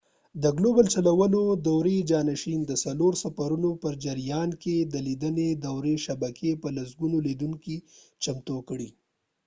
د ګلوبل چلولو دورې جانشین د څلور سفرونو په جریان کې د لیدنې دورې شبکې په لسګونو لیدونکي چمتو کړئ